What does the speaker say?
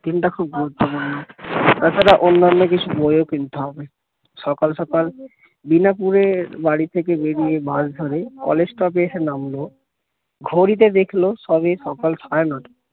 দিনটা খুব গুরুত্বপূর্ন তাছাড়া অন্যান্য কিছু বইও কিনতে হবে সকাল সকাল বিনাপুরের বাড়ি থেকে বেরিয়ে বাস ধরে কলেজ স্টপে এসে নামল ঘড়িতে দেখলো সবে সকাল সাড়ে ন টা